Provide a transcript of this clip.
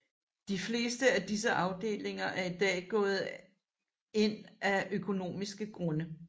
De fleste af disse afdelinger er i dag gået ind af økonomiske grunde